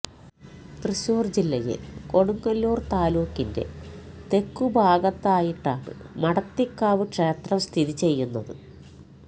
തൃശൂർ ജില്ലയിൽ കൊടുങ്ങല്ലൂർ താലൂക്കിന്റെ തെക്കുഭാഗത്തായിട്ടാണ് മഠത്തിക്കാവ് ക്ഷേത്രം സ്ഥിതി ചെയ്യുന്നത്